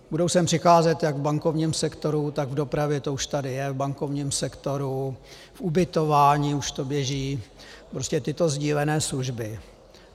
Budou sem přicházet jak v bankovním sektoru, tak v dopravě, to už tady je v bankovním sektoru, v ubytování už to běží, prostě tyto sdílené služby.